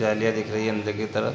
जालियाँ दिख रही है अंदर की तरफ --